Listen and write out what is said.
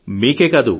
మీకే కాదు